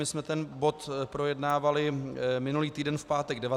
My jsme ten bod projednávali minulý týden v pátek 19. října.